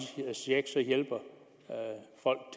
check